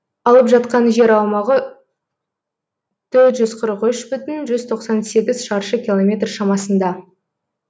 алып жатқан жер аумағы төрт жүз қырық үш бүтін жүз тоқсан сегіз шаршы километр шамасында